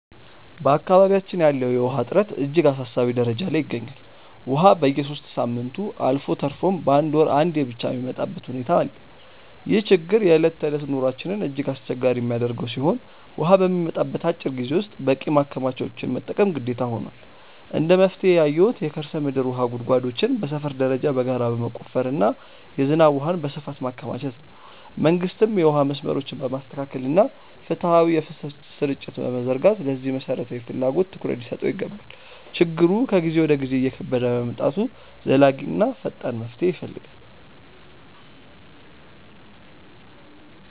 በአካባቢያችን ያለው የውሃ እጥረት እጅግ አሳሳቢ ደረጃ ላይ ይገኛል፤ ውሃ በየሦስት ሳምንቱ አልፎ ተርፎም በአንድ ወር አንዴ ብቻ የሚመጣበት ሁኔታ አለ። ይህ ችግር የዕለት ተዕለት ኑሯችንን እጅግ አስቸጋሪ የሚያደርገው ሲሆን፣ ውሃ በሚመጣበት አጭር ጊዜ ውስጥ በቂ ማከማቻዎችን መጠቀም ግዴታ ሆኗል። እንደ መፍትሄ ያየሁት የከርሰ ምድር ውሃ ጉድጓዶችን በሰፈር ደረጃ በጋራ መቆፈርና የዝናብ ውሃን በስፋት ማከማቸት ነው። መንግስትም የውሃ መስመሮችን በማስተካከልና ፍትሃዊ የፍሰት ስርጭት በመዘርጋት ለዚህ መሠረታዊ ፍላጎት ትኩረት ሊሰጠው ይገባል። ችግሩ ከጊዜ ወደ ጊዜ እየከበደ በመምጣቱ ዘላቂና ፈጣን መፍትሄ ይፈልጋል።